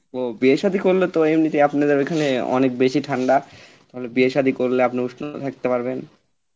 ও বিয়ে সাদি করলে তো আপনাদের ওখানে অনেক বেশি ঠান্ডা তাহলে বিয়ে সাদি করলে আপনি উষ্ণ থাকতে পারবেন